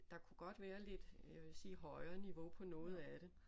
Der kunne godt være lidt jeg vil sige højere niveau på noget af det